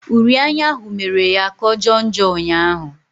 Uri anya ahụ mere ya kà ọ jọọ njọ ụnyaahụ.